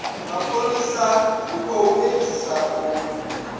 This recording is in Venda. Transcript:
mapholisa u khou edzisa u